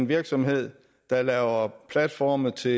virksomheder der laver platforme til